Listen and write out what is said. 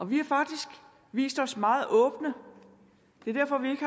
vi har faktisk vist os meget åbne det er derfor vi ikke